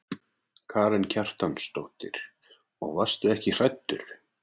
Karen Kjartansdóttir: Og varstu ekki hræddur?